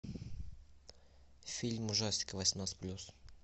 фильм ужастик восемнадцать плюс